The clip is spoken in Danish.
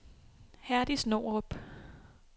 Herdis Norup